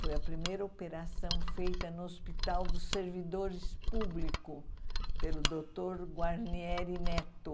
Foi a primeira operação feita no Hospital dos Servidores Públicos pelo doutor Guarnieri Neto.